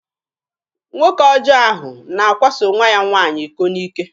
Nwoke ọjọ ahụ na-akwaso nwa ya nwaanyị iko n'ike.